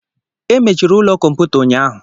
Emechiri ụlọ kọmputa ụnyahụ